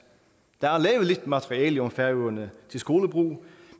der er lavet lidt materiale om færøerne til skolebrug